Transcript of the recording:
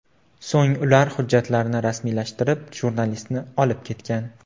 So‘ng ular hujjatlarni rasmiylashtirib, jurnalistni olib ketgan.